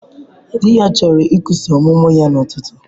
Di ya chọrọ ikwusa ọmụmụ ya n'ụtụtụ.